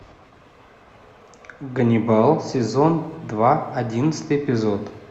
ганнибал сезон два одиннадцатый эпизод